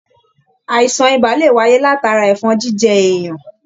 Àìsàn ibà lè wáyé látara ẹfọn jíjẹ èèyàn.